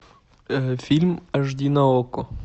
фильм аш ди на окко